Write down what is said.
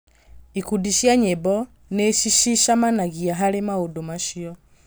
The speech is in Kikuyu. Ikundi cia nyĩmbo nĩ cicamanagia harĩ maũndũ macio.